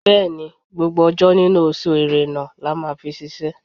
Bẹ́ẹ̀ni, gbogbo ọjọ́ nínú oṣù Ẹ̀rẹnà la máa fi ṣiṣẹ́.